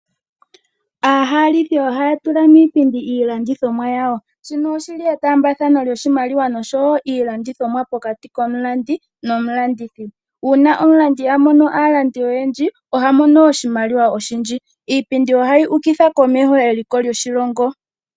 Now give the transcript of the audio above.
Aahalithi ohaya tula miipindi iihalithomwa yawo, shino oshili etaambathano lyoshimaiwa oshowo iilandithomwa pokati komulandi nomulandithi. Uuna omulandithi a mono aalandi oyendji oha mono oshimaliwa oshindji, iipindi ohayi humitha komeho eliko lyoshilongo.